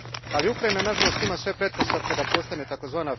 Ali Ukrajina nažalost ima sve pretpostavke da postane tzv.